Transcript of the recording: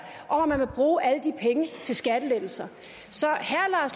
at man vil bruge alle de penge til skattelettelser så